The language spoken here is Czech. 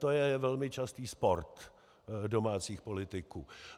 To je velmi častý sport domácích politiků.